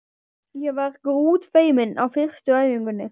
Ég var grútfeimin á fyrstu æfingunni.